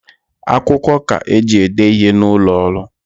Akwukwo ka eji ede ihe n’ụlọọrụ